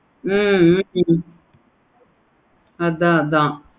ஹம் உம் அதான்